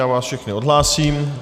Já vás všechny odhlásím.